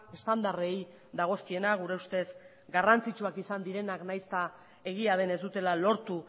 estandarrei dagozkiena gure ustez garrantzitsuak izan direnak nahiz eta egia den ez dutela lortu